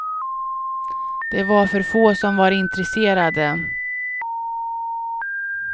Det var för få som var intresserade.